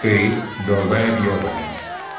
ты долбаеб ебанный